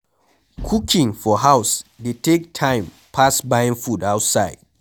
Cooking for house dey take time pass buying food outside